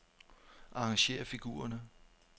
Arrangér figurerne.